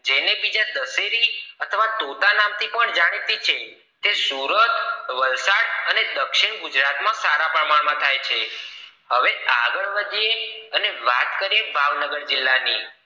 જેને બીજા દસેરિ અથવા તોતા નામ થી પણ જાણીતી છે તે સુરત વલસાડ દક્ષિણ ગુજરાત માં સારા પ્રમાણ માં થાય છે હવે આગળ વધીએ અને વાત કરીએ ભાવનગર જિલ્લા ની